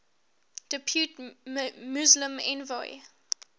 depute muslim envoy